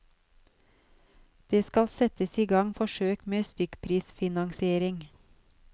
Det skal settes i gang forsøk med stykkprisfinansiering.